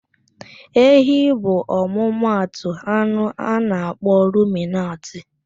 Ehi bụ ọmụmatụ anụ a na-akpọ ruminantị.